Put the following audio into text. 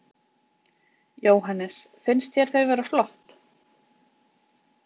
Jóhannes: Finnst þér þau vera flott?